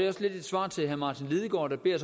også lidt et svar til herre martin lidegaard der beder